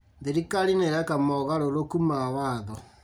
Thirikari nĩĩreka mogarũrũku ma watho